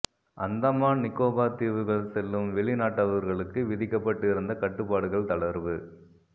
அந்தமான் நிக்கோபார் தீவுகள் செல்லும் வெளிநாட்டவர்களுக்கு விதிக்கப்பட்டு இருந்த கட்டுப்பாடுகள் தளர்வு